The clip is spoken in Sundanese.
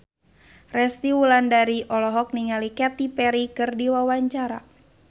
Resty Wulandari olohok ningali Katy Perry keur diwawancara